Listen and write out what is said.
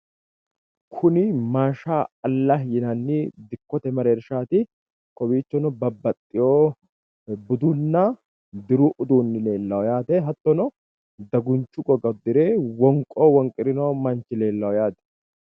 Kuni maasha allahi yinanni dikkote mereershaati. Kowiichono babbaxxiwo budunna diru udduunni leellawo yaate. Hattono dagunchu goga uddire wonqo wonqirino manchi leellawo yaate.